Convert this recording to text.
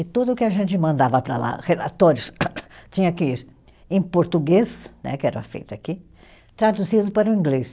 E tudo que a gente mandava para lá, relatórios, tinha que ir em português, né que era feito aqui, traduzido para o inglês.